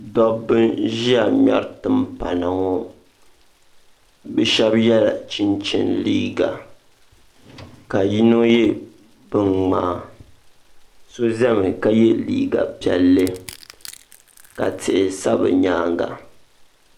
Dabba n ʒɛya ŋmeri timpana ŋɔ. Bɛ shebi yela chinchini liiga ka yino ye binŋmaa. So ʒɛmi ka ye liiga pielli. ka tihi sa bɛ nyaaŋa